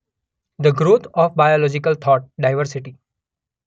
the growth of biological thought: diversity